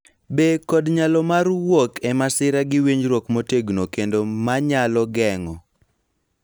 Be kod nyalo mar wuok e masira gi winjruok motegno kendo ma nyalo geng�o.